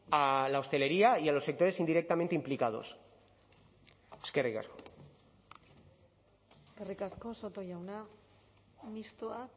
a la hostelería y a los sectores indirectamente implicados eskerrik asko eskerrik asko soto jauna mistoa